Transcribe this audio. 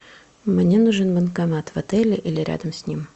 мне нужен банкомат в отеле или рядом с ним